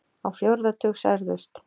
Á fjórða tug særðust